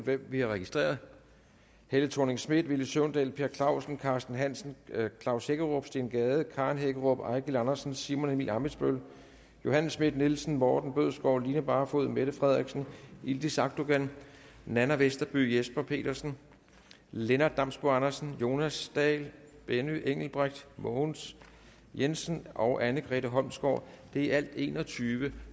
hvem vi har registreret helle thorning schmidt villy søvndal per clausen carsten hansen klaus hækkerup steen gade karen hækkerup eigil andersen simon emil ammitzbøll johanne schmidt nielsen morten bødskov line barfod mette frederiksen yildiz akdogan nanna westerby jesper petersen lennart damsbo andersen jonas dahl benny engelbrecht mogens jensen og anne grete holmsgaard det er i alt enogtyvende